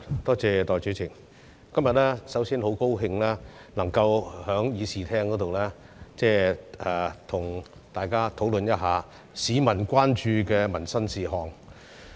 代理主席，首先，今天很高興能夠在議事廳，跟大家討論市民關注的民生事項。